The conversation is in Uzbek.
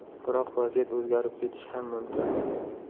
Biroq vaziyat o‘zgarib ketishi ham mumkin.